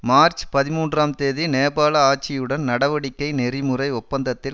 March பதிமூன்றாம் தேதி நேபாள ஆட்சியுடன் நடவடிக்கை நெறிமுறை ஒப்பந்தத்தில்